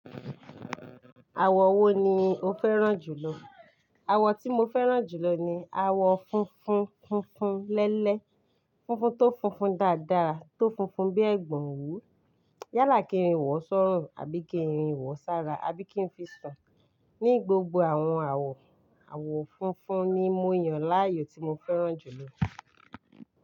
Àwọ̀ wo ni o fẹ́ràn jù lọ? Àwọ̀ tí mo fẹ́ràn jù lọ ni àwọ̀ funfun funfun lẹ́lẹ́, funfun tó funfun dáadáa, tó funfun bí ẹ̀gbọ́n òwú. Yálà kí n wọ sọ́run, àbí kí n wọ sára, àbí kí ń fi sun. Ní gbogbo àwọn àwọ̀, àwọ̀ funfun ni mo yàn láàyò tí mo fẹ́ràn jù lọ.